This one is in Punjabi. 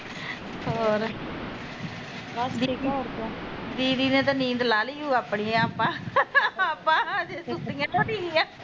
ਹੋਰ ਦੀਦੀ ਨੇ ਤਾਂ ਨੀਂਦ ਲਾ ਲੀ ਓ ਆਪਣੀ ਆਪਾਂ ਆਪਾਂ ਅਜੇ ਸੁੱਤੀਆ ਓ ਨੀ ਆ